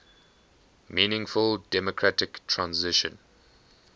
meaningful democratic transition